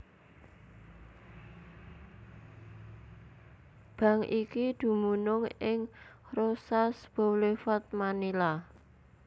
Bank iki dumunung ing Roxas Boulevard Manila